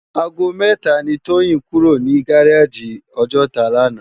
Àgó mètá ni Toyin kúró ni gáráji Òjòtá làná